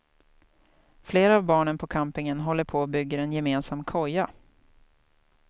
Flera av barnen på campingen håller på och bygger en gemensam koja.